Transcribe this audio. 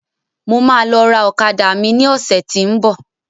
Mo máa lọ ra ọ̀kadà mi ní ọ̀sẹ́ tí ń bọ̀.